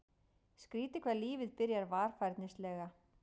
Skrýtið hvað lífið byrjar varfærnislega.